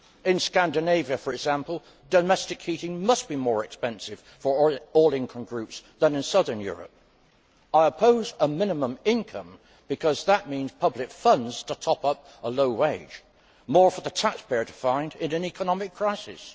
In Scandinavia, for example, domestic heating must be more expensive for all income groups than in southern Europe. I oppose a minimum income because that means public funds to top up a low wage more for the taxpayer to find in an economic crisis.